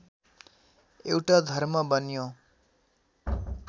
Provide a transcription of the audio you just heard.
एउटा धर्म बन्यो